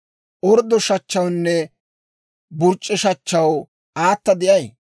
Orddo shachchawunne burc'c'e shachchaw aata de'ay?